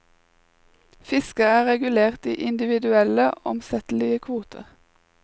Fisket er regulert i individuelle, omsettelige kvoter.